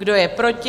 Kdo je proti?